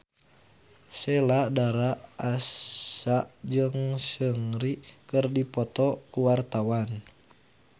Sheila Dara Aisha jeung Seungri keur dipoto ku wartawan